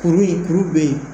kuuri kuri be yen